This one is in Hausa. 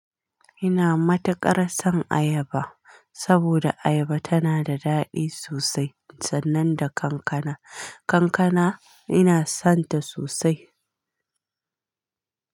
Ina matuƙar son ayaba saboda ayaba tana da daɗi sosai, sannan da kankana. Kankana ina sonta sosai.